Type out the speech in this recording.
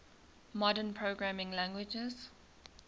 modern programming languages